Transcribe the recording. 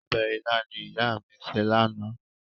Ọbẹ̀ ilá ni ìyá mi sè lánàá.